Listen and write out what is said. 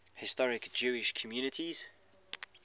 historic jewish communities